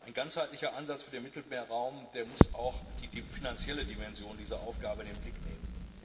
Ein ganzheitlicher Ansatz für den Mittelmeerraum muss auch die finanzielle Dimension dieser Aufgabe in den Blick nehmen.